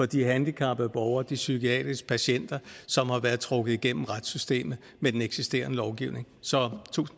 de handicappede borgere de psykiatriske patienter som har været trukket igennem retssystemet med den eksisterende lovgivning så